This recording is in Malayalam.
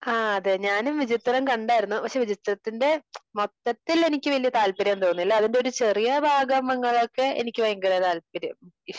അഹ് അതെ ഞാനും വിചിത്രം കണ്ടാരുന്നു. പക്ഷെ വിചിത്രത്തിന്റെ മൊത്തത്തിൽ എനിക്കു വലിയ താല്പര്യം തോന്നിയില്ല. അതിന്റെ ഒരു ചെറിയ ഭാഗങ്ങളൊക്കെ എനിക്കു ഭയങ്കര താല്പര്യം,